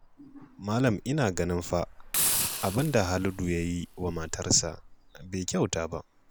Malam ina ganin fa abin da Haladu ya yi wa matarsa bai kyauta ba